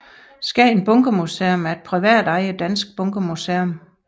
Skagen Bunkermuseum er et privatejet dansk bunkermuseum